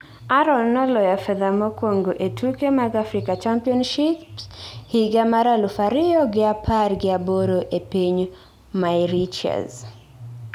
Arono noloyo fedha mokuongo ee tuke mag Africa Championship higa mar aluf ariyo gi apar gi aboro e piny Mauritius